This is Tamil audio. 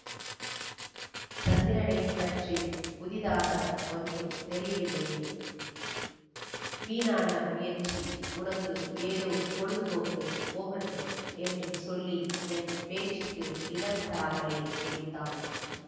சந்திரனை பற்றி புதிதாக ஒன்றும் தெரியவில்லையே வீணான முயற்சி உனக்கு ஏதோ பொழுதுபோக்கு போகட்டும் என்று சொல்லி என் பேச்சுக்கு இடம் தராமலே முடித்தான்